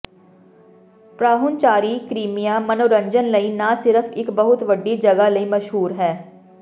ਪਰਾਹੁਣਚਾਰੀ Crimea ਮਨੋਰੰਜਨ ਲਈ ਨਾ ਸਿਰਫ ਇੱਕ ਬਹੁਤ ਵੱਡੀ ਜਗ੍ਹਾ ਲਈ ਮਸ਼ਹੂਰ ਹੈ